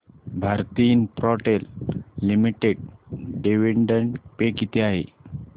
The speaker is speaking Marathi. Bharti Infratel limited dividend pay किती आहे